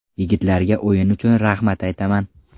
Yigitlarga o‘yin uchun rahmat aytaman.